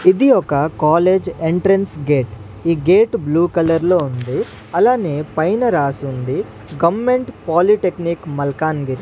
ఇది ఒక college entrance gate ఈ గేట్ బ్లూ కలర్ లో ఉంది అలానే పైన రాసుంది గమెంట్ పాలిటెక్నిక్ మల్కాన్గిరి.